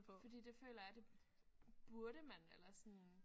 Fordi det føler jeg det burde man eller sådan